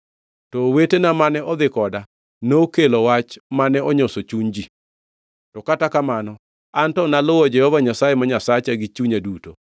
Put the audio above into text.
to owetena mane odhi koda nokelo wach mane onyoso chuny ji. To kata kamano, an to naluwo Jehova Nyasaye ma Nyasacha gi chunya duto.